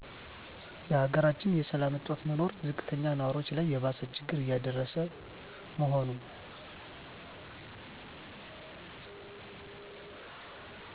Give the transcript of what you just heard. የሀገራችን የሰላም እጦት መኖር ዝቅተኛ ንዋሪዎች ላይ የባሰ ችግር እየደረሰ መሆኑ